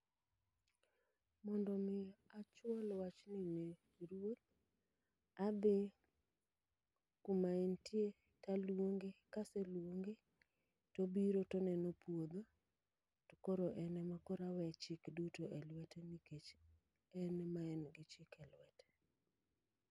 Mondo mi achwal wachni ne ruoth, adhi kuma entie taluonge. Kaseluonge, tobiro toneno puodho, to koro en ema koro awe chik duto e lwete nikech en ema en gi chik e lwete.